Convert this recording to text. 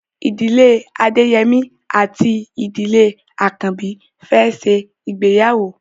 Ìdílé Adeyemi àti Ìdílé Akanbi fè ṣe ìgbéyàwó.